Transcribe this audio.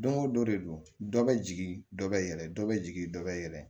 Don o don de don dɔ bɛ jigin dɔ bɛ yɛlɛ dɔ bɛ jigin dɔ bɛ yɛlɛ